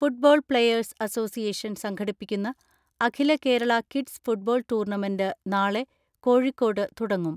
Football players association സംഘടിപ്പിക്കുന്ന അഖിലകേരള kids football tournament നാളെ കോഴിക്കോട് തുടങ്ങും.